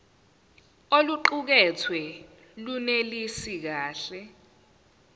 oluqukethwe lunelisi kahle